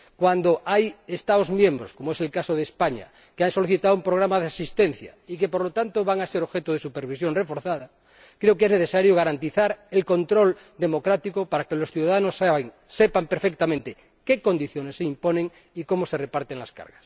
Cuando hay Estados miembros, como es el caso de España, que han solicitado el programa de asistencia y que, por lo tanto, van a ser objeto de supervisión reforzada, creo que es necesario garantizar el control democrático para que los ciudadanos sepan perfectamente qué condiciones se les imponen y cómo se reparten las cargas.